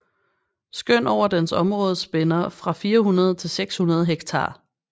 Skøn over dens område spænder fra 400 til 600 hektar